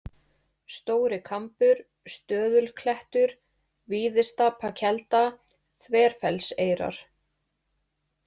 Stóri-Kambur, Stöðulklettur, Víðistapakelda, Þverfellseyrar